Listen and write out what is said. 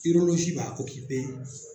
b'a